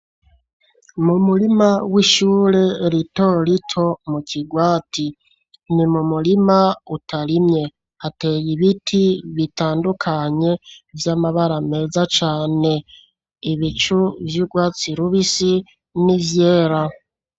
Mumurima w'ishure rito rito mukigwati ni mumurima utarimye hateye ibiti bitandukanye vyamabara meza cane atandukanye ibicu ivy'ugwatsi rubisi n'ivyera.